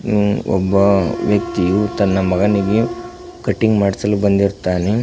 ಹು ಒಬ್ಬ ವ್ಯಕ್ತಿಯು ತನ್ನ ಮಗನಿಗೆ ಕಟಿಂಗ್ ಮಡಿಸಲು ಬಂದಿರುತ್ತಾನೆ.